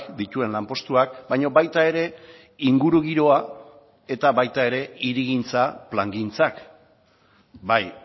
dituen lanpostuak baina baita ere ingurugiroa eta baita ere hirigintza plangintzak bai